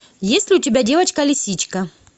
есть ли у тебя девочка лисичка